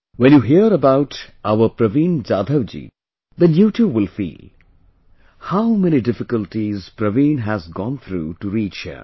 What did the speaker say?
When you hear about our Praveen Jadhav ji , then you too will feel... how many difficulties Praveen has gone through to reach here